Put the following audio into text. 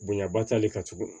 Bonyaba t'ale kan tuguni